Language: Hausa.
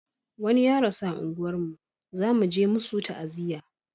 wani ya rasu a unguwar mu za muje musu ta'aziya